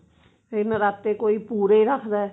ਤੇ ਨਰਾਤੇ ਕੋਈ ਪੂਰੇ ਰੱਖਦਾ